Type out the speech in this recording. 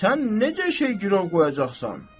Sən necə şey girov qoyacaqsan?